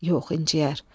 Yox, incəyər.